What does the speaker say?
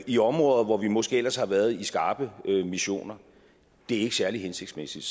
i områder hvor vi måske ellers har været i skarpe missioner det er ikke særlig hensigtsmæssigt